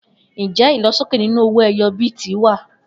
Njẹ ilosoke ninu owó ẹyọ bíìtì wa?